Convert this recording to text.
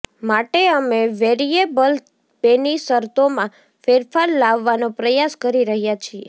માટે અમે વેરિયેબલ પેની શરતોમાં ફેરફાર લાવવાનો પ્રયાસ કરી રહ્યાં છીએ